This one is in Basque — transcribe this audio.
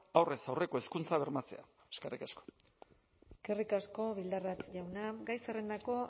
aurrez aurreko hezkuntza bermatzea eskerrik asko eskerrik asko bildarratz jauna gai zerrendako